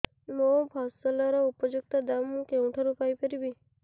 ମୋ ଫସଲର ଉପଯୁକ୍ତ ଦାମ୍ ମୁଁ କେଉଁଠାରୁ ପାଇ ପାରିବି